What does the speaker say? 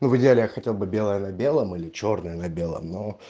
ну в идеале я хотел бы белое на белом или чёрное на белом но